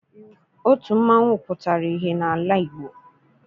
Otu mmanwụ pụtara ihe n'ala Igbo.